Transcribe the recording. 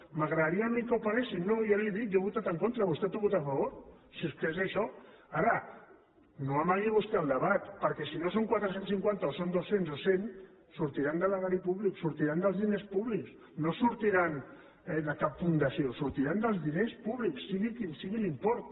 m’agradaria a mi que ho paguessin no ja li ho he dit jo hi he votat en contra vostè hi ha votat a favor si és que és això ara no amagui vostè el debat perquè si no són quatre cents i cinquanta i són dos cents o cent sortiran de l’erari públic sortiran dels diners públics no sortiran de cap fundació sortiran dels diners públics sigui quin sigui l’import